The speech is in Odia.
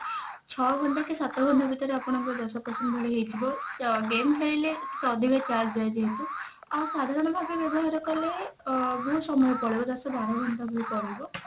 ଛଅ ଘଣ୍ଟା କି ସାତ ଘଣ୍ଟା ଭିତରେ ଆପଣଙ୍କର ଦଶ percent ଭଳି ହେଇଥିବ game ଖେଳିଲେ ଅଧିକ charge ଯାଏ ଯେହେତୁ ଆଉ ସାଧାରଣ ଭାବେ ବ୍ୟବହାର କଲେ ଅ ବହୁତ ସମୟ ପଳେଇବ ଦଶ ବାର ଘଣ୍ଟା ଭଳି ପଳେଇବ